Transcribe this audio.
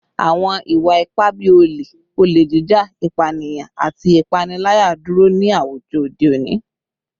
Awọn iwa-ipa bii ole, ole jija, ipaniyan, ati ipanilaya duro ni awujọ ode oni